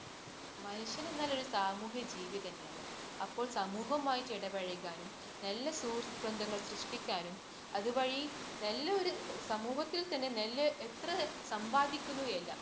മനുഷ്യനെന്നാല്‍ ഒരു സാമൂഹ്യജീവിതന്നെയാണ്. അപ്പോൾ സമൂഹവുമായിട്ട് ഇടപഴകാനും, നല്ല സുഹൃത്ത് ബന്ധങ്ങൾ സൃഷ്ടിക്കാനും അതുവഴി നല്ല ഒരു സമൂഹത്തിൽ തന്നെ നല്ല എത്ര സമ്പാദിക്കുന്നു എന്നല്ല